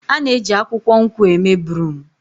A na-eji akwukwo nkwụ eme broom.